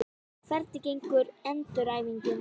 Hvernig gengur endurhæfingin?